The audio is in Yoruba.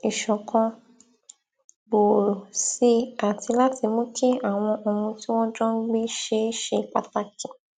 ìṣọkan gbòòrò si àti láti mú kí àwọn ohun tí wọn jọ ń gbé ṣe ṣe pàtàkì